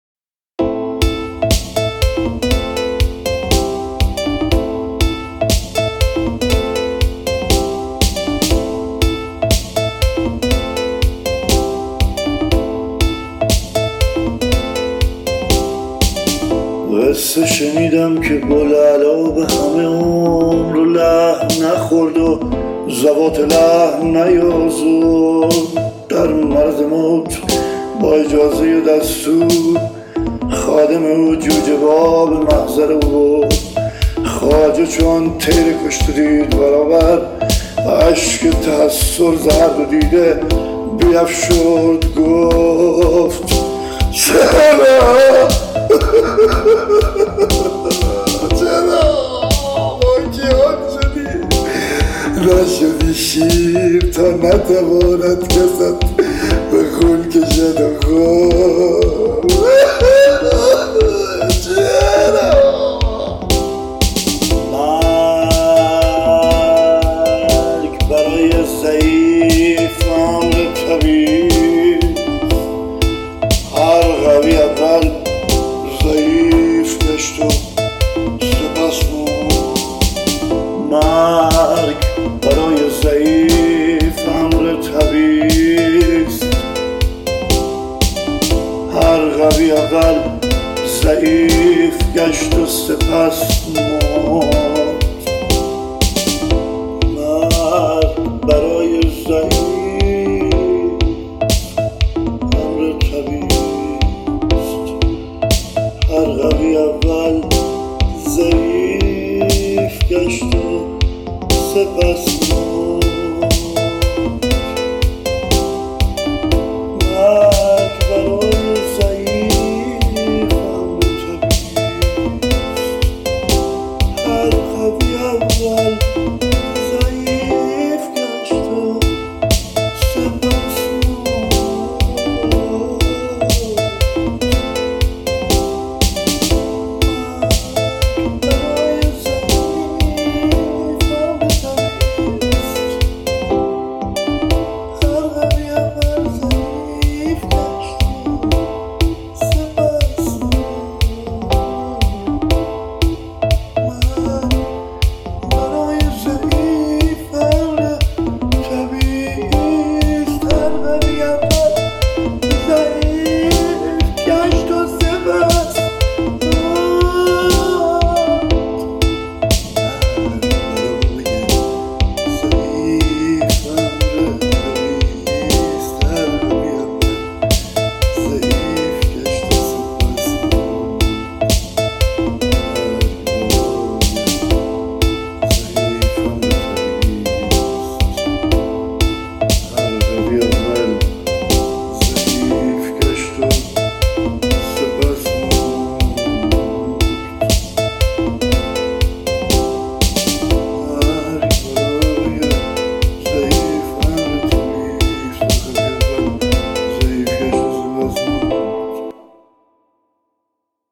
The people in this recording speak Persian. قصه شنیدم که بوالعلا به همه عمر لحم نخورد و ذوات لحم نیازرد در مرض موت با اجازه دستور خادم او جوجه با به محضر او برد خواجه چو آن طیر کشته دید برابر اشک تحسر ز هر دو دیده بیفشرد گفت چرا ماکیان شدی نشدی شیر تا نتواند کست به خون کشد و خورد مرگ برای ضعیف امر طبیعی است هر قوی اول ضعیف گشت و سپس مرد